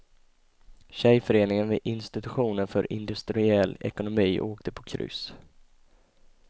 Tjejföreningen vid institutionen för industriell ekonomi åkte på kryss.